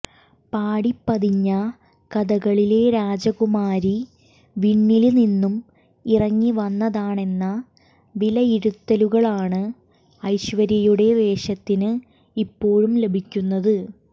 പാടി പതിഞ്ഞ കഥകളിലെ രാജകുമാരി വിണ്ണില് നിന്നും ഇറങ്ങി വന്നതാണെന്ന വിലയിരുത്തലുകളാണ് ഐശ്വര്യയുടെ വേഷത്തിന് ഇപ്പോള് ലഭിക്കുന്നത്